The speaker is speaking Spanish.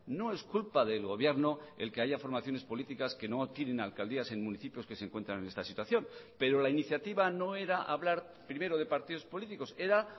no es culpa del gobierno el que haya formaciones políticas que no adquieren alcaldías en municipios que se encuentran en esta situación pero la iniciativa no era hablar primero de partidos políticos era